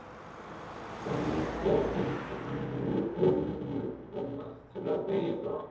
Þangað vildi hann nú ólmur komast til að veiða.